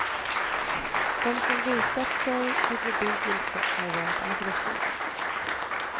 De som visat sig vid bebyggelse har varit aggressiva.